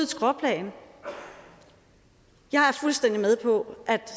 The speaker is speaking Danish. skråplan jeg er fuldstændig med på